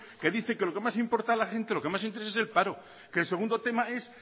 que dice que lo que más importa a la gente lo que más le interesa es el paro que el segundo tema es